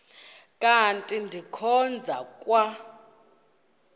kanti ndikhonza kwa